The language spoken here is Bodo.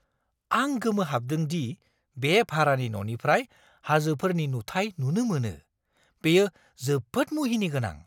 आं गोमोहाबदों दि बे भारानि न'निफ्राय हाजोफोरनि नुथाय नुनो मोनो। बेयो जोबोद मुहिनिगोनां!